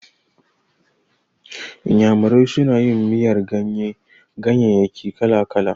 Iyamurai suna yin miyar ganyayyaki kala-kala.